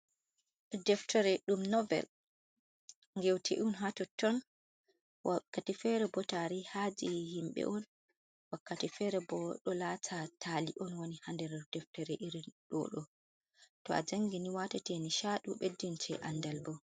Deftere, ɗum novel gewtee on hatotton, wakkati fere boo tariha je himɓe on, wakkati fere boo ɗo lata taali on woni ha nder deftere irin dodo to a jangini watate nishaɗi beddinte andal bo.